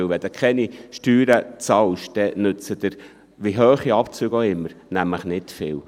Denn wenn man keine Steuern zahlt, nützen einem, egal wie hoch die Abzüge auch immer sind, nämlich nicht viel.